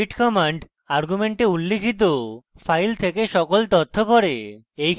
read command argument উল্লিখিত file থেকে সকল তথ্য পড়ে